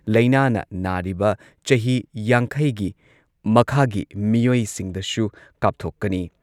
ꯂꯩꯅꯥꯅ ꯅꯥꯔꯤꯕ ꯆꯍꯤ ꯌꯥꯡꯈꯩꯒꯤ ꯃꯈꯥꯒꯤ ꯃꯤꯑꯣꯏꯁꯤꯡꯗꯁꯨ ꯀꯥꯞꯊꯣꯛꯀꯅꯤ꯫